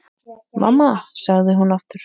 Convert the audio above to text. Mamma, sagði hún aftur.